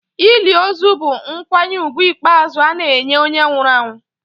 Ili ozu bụ nkwanye ùgwù ikpeazụ ana-enye onye nwụrụ anwụ.